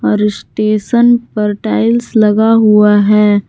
री स्टेशन पर टाइल्स लगा हुआ है।